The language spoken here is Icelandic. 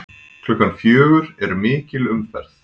Klukkan fjögur er mikil umferð.